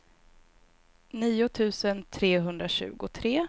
nio tusen trehundratjugotre